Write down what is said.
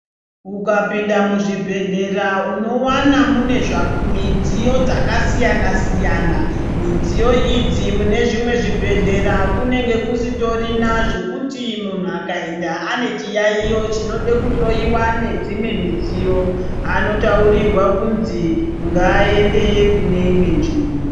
Ukapinda muzvibhedhlera unowana mune midziyo dzakasiyana siyana. Midziyo idzi mune zvimwe zvibhedhlera kunenge kusitorina zvekuti munhu akaenda ane chiyaiyo chinode kuhloyiwa nedzimwe midziyo anotaurirwa kunzi ngaaende kune imwe nzvimbo.